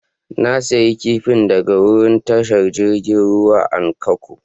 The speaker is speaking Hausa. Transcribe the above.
Na siya kifin daga wurin tashar jirigin ruwan a'lkko.